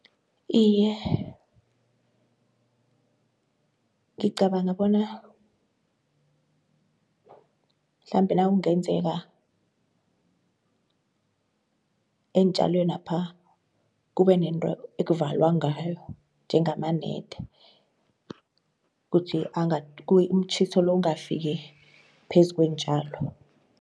Iye ngicabanga bona mhlambe nakungenzeka eentjalwenapha kube nento ekuvalwa ngayo njengamanede umtjhiso lo ungafiki phezu kweentjalo.